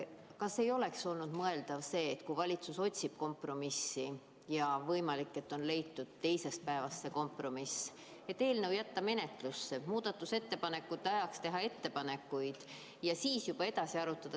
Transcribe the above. Kas ei oleks olnud mõeldav see – kui valitsus otsib kompromissi ja võimalik, et see kompromiss on leitud alates teisest päevast –, et jätta eelnõu menetlusse, muudatusettepanekute tähtajaks teha ettepanekuid ja siis edasi arutada?